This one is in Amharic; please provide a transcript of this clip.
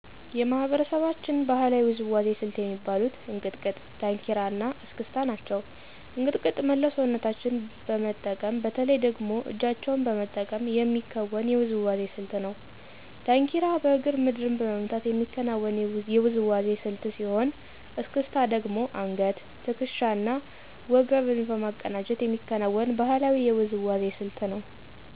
የማህበረሰባችን ባህላዊ ውዝዋዜ ስልት የሚባሉት፦ እንቅጥቅጥ፣ ዳንኪራ እና እስክስታ ናቸው። እንቅጥቅጥ መላው ሰውነታችን በመጠቀም በተለይ ደግሞ እጃቸውን በመጠቀም የሚከወን የውዝዋዜ ስልት ነው። ዳንኪራ በእግር ምድርን በመምታት የሚከናወን የውዝዋዜ ስልት ሲሆን፤ እስክስታ ደግሞ አንገት፣ ትክሻ እና ወገብን በማቀናጀት የሚከናወን ባህላዊ የውዝዋዜ ስልት ነው።